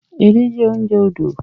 Edé jẹ́ oúnjẹ odò